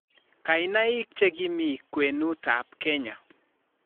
Kainaik che ki mi kwenutap Kenya